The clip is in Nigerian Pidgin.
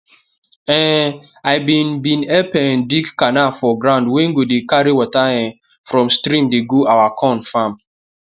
um i bin bin help um dig canal for ground wey go dey carry water um from stream dey go our corn farm